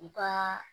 U ka